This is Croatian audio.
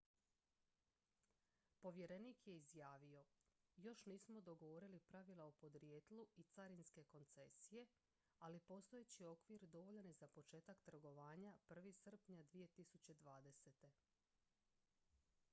"povjerenik je izjavio: "još nismo dogovorili pravila o podrijetlu i carinske koncesije ali postojeći okvir dovoljan je za početak trgovanja 1. srpnja 2020.""